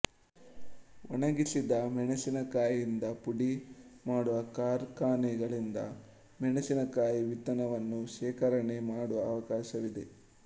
ಒಣಗಿಸಿದ ಮೆಣಸಿನಕಾಯಿಂದ ಪುಡಿ ಮಾಡುವ ಕಾರ್ಖಾನೆಗಳಿಂದ ಮೆಣಸಿನಕಾಯಿ ವಿತ್ತನವನ್ನು ಶೇಖರಣೆ ಮಾಡುವ ಅವಕಾಶವಿವೆ